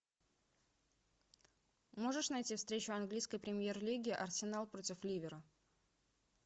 можешь найти встречу английской премьер лиги арсенал против ливера